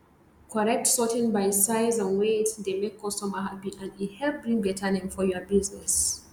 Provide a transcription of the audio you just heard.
correct sorting by size and wieght dey make customer happy and e help bring better name for your business